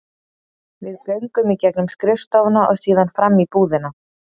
Við göngum í gegnum skrifstofuna og síðan fram í búðina.